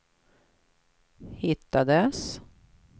hittades